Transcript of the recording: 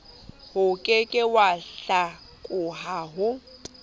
oke ke wa hlakoha o